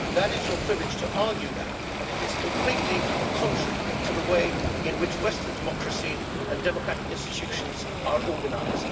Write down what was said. That is your privilege to argue that, but it is completely contrary to the way in which Western democracy and democratic institutions are organised.